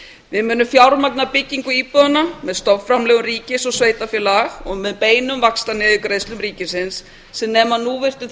við munum fjármagna byggingu íbúðanna með stofnframlögum ríkis og sveitarfélaga og með beinum vaxtaniðurgreiðslum ríkisins sem nema nú víst um